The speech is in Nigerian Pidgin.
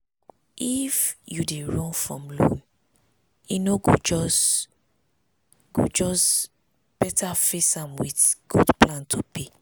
if you dey run from loan e no go just go just go better face am with good plan to pay.